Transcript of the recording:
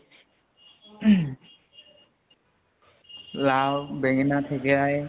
উহু লাও বেঙেণা থেকেৰাই